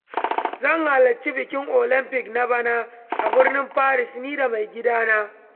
Zan halarci bikin Olampic na bana a birnin Paris ni da mai gidana.